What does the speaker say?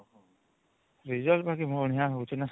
Result ବାକି ବଢିଆ ହଉଚି ନା